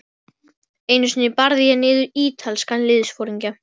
Einu sinni barði ég niður ítalskan liðsforingja.